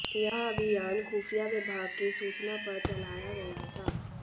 यह अभियान खुफिया विभाग की सूचना पर चलाया गया था